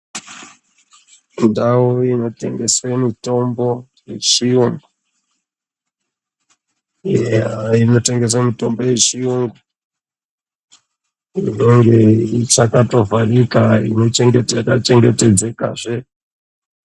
Ndau inotengese mitombo yechiyu..inotengese mitombo yechiyungu inenge yakatovharika yakachengetedzekazve.